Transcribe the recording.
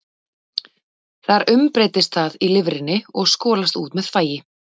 Þar umbreytist það í lifrinni og skolast út með þvagi.